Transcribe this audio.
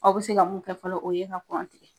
Aw be se ka mun kɛ fɔlɔ o ye tigɛ.